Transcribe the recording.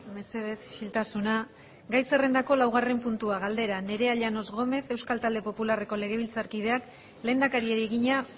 mesedez isiltasuna gai zerrendako laugarren puntua galdera nerea llanos gómez euskal talde popularreko legebiltzarkideak lehendakariari egina